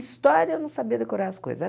História, eu não sabia decorar as coisas.